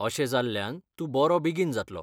अशें जाल्ल्यान तूं बरो बेगीन जातलो.